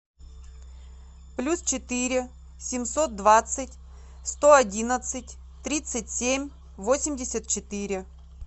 плюс четыре семьсот двадцать сто одиннадцать тридцать семь восемьдесят четыре